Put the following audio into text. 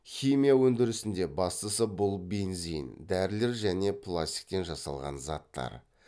химия өндірісінде бастысы бұл бензин дәрілер және пластиктен жасалған заттар